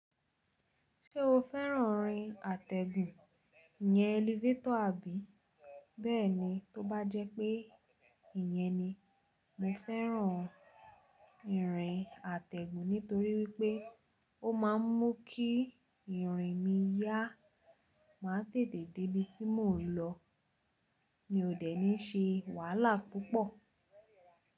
Ṣé o fẹ́ràn rìn àtẹ̀gùn, ìyẹ́ elevator àbí? Bẹ́ẹ̀ni, tó bá jẹ́ pé ìyẹn ni, mo fẹ́ràn ìrìn àtẹ̀gùn nítorí wípé ó ma ń mú kí ìrìn mi yá. Má tètè dé ibi tí mò ń lọ, mi ò dẹ̀ ní ṣe wàhálà púpọ̀.